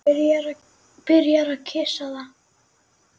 Byrjar að kyssa það.